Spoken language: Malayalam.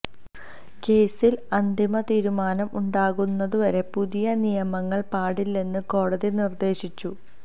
കേസിൽ അന്തിമ തീരുമാനം ഉണ്ടാകുന്നവരെ പുതിയ നിയമനങ്ങൾ പാടില്ലെന്ന് കോടതി നിര്ദേശിച്ചു